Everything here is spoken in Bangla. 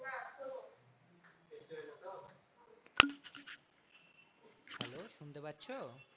শুনতে পাচ্ছ?